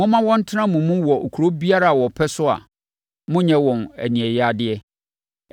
Momma wɔntena mo mu wɔ kuro biara a wɔpɛ so a monnnyɛ wɔn aniɛyaadeɛ.